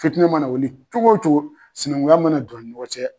Fitinɛ mana wuli cogo cogo sinankunya mana don u ni ɲɔgɔn cɛ